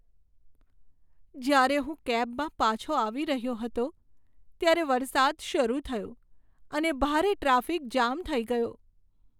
જ્યારે હું કેબમાં પાછો આવી રહ્યો હતો, ત્યારે વરસાદ શરૂ થયો અને ભારે ટ્રાફિક જામ થઈ ગયો.